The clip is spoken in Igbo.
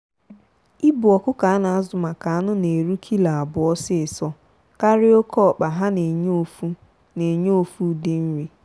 ịbụ ọkụkọ a na azụ maka anụ na-eru kilo abụọ ọsịsọ karịa oke ọkpa ha na enye ofu na enye ofu ụdị nri.